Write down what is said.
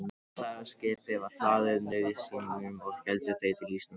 Stærra skipið var hlaðið nauðsynjum og héldu þeir til Íslands á ný.